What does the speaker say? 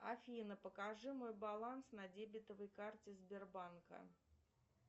афина покажи мой баланс на дебетовой карте сбербанка